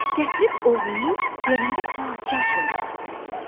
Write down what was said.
Gətirib oğlunu yerində padşah qoymaq istədilər.